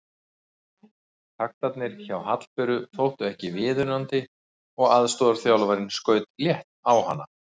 Taktarnir hjá Hallberu þóttu ekki viðunandi og aðstoðarþjálfarinn skaut létt á hana.